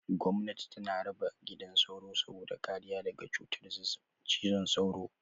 Gomnati tana raba gidan sauro saboda kariya daga cutar zazzaɓin cizon sauro.